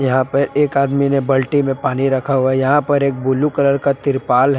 यहां पे एक आदमी ने बल्टी में पानी रखा हुआ है यहां पर एक ब्लू कलर का तिरपाल है।